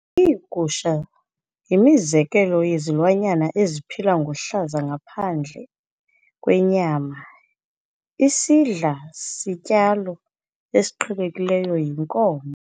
Iigusha yimizekelo yezilwanyana eziphila ngohlaza ngaphandle kwenyama. isidla zityalo esiqhelekileyo yinkomo